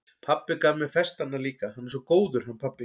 Pabbi gaf mér festarnar líka, hann er svo góður, hann pabbi.